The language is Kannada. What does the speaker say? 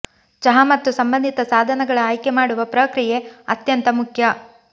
ಚಹಾ ಮತ್ತು ಸಂಬಂಧಿತ ಸಾಧನಗಳ ಆಯ್ಕೆ ಮಾಡುವ ಪ್ರಕ್ರಿಯೆ ಅತ್ಯಂತ ಮುಖ್ಯ